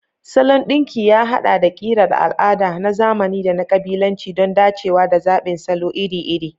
Salon ɗinki ya haɗa da ƙirar al'ada, na zamani, da na ƙabilanci don dacewa da zaɓin salo iri-iri.